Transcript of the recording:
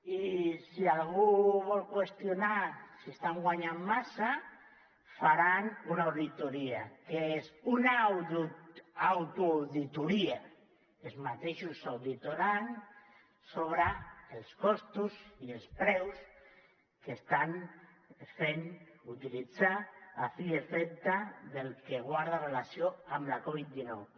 i si algú vol qüestionar si estan guanyant massa faran una auditoria que és una autoauditoria ells mateixos s’auditaran sobre els costos i els preus que estan fent utilitzar a fi i efecte del que guarda relació amb la covid dinou